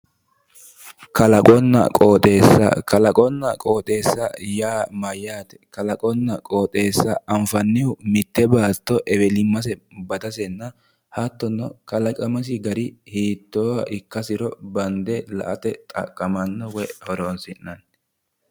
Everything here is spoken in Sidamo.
Kalaqonna qooxeessa kalaqonna qooxeessa yaa mayyaate kalaqonna qooxeessa anfannihu mitte baatto kalaqonna ewelimmase hattono kalaqamase gari hiittooha ikkasero bande la"ate xaqqamannk woyi horonsi'nanni